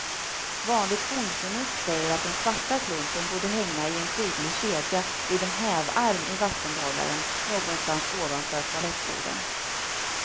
Vanligt bondförnuft säger att den svarta klumpen borde hänga i en prydlig kedja vid en hävarm i vattenbehållaren, någonstans ovanför toalettstolen.